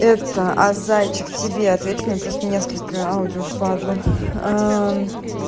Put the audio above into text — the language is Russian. это а зайчик тебе отвечу мне просто несколько аудио впадлу